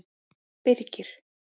Birgir